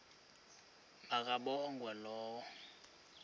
ma kabongwe low